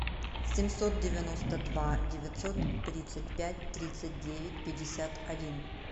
семьсот девяносто два девятьсот тридцать пять тридцать девять пятьдесят один